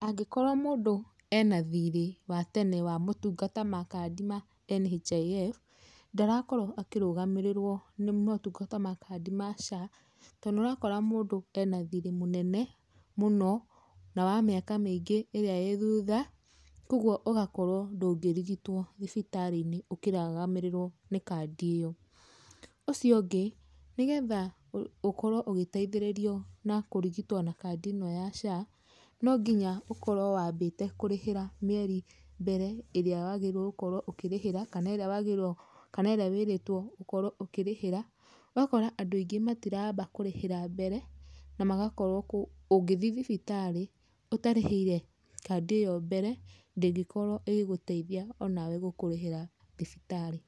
Angĩkorwo mũndũ ena thirĩ wa tene wa motungata ma kandi ya NHIF, ndarakorwo akĩrũgamĩrĩrwo nĩ motungata ma kandi ma SHA tondũ nĩ ũrakora mũndũ ena thirĩ mũnene mũno na wa mĩaka mĩingĩ ĩrĩa ĩ thutha, kwoguo ũgakorwo ndũngĩrigitwo thibitarĩ-inĩ ũkĩrũgamĩrĩrwo nĩ kandi ĩyo. Ũcio ũngĩ, nĩgetha ũkorwo ũgĩteithĩrĩrio na kũrigitwo na kandi ĩno ya SHA, nonginya ũkorwo wambĩte kũrĩhĩra mĩeri mbere ĩrĩa wagĩrĩirwo gũkorwo ũkĩrĩhĩra, kana ĩrĩa wagĩrĩirwo, kana ĩrĩa wĩrĩtwo ũkorwo ũkĩrĩhĩra, ũgakora andũ aingĩ matiramba kũrĩhĩra mbere na magakorwo, ũngĩthiĩ thibitarĩ ũtarĩhĩire kandi ĩyo mbere, ndĩngikorwo ĩgĩgũteithia onawe gũkũrĩhĩra thibitarĩ.